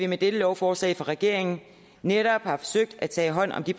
med dette lovforslag fra regeringen netop har forsøgt at tage hånd om de